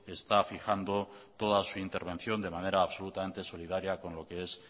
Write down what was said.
está fijando toda su intervención de manera absolutamente solidaria con lo que es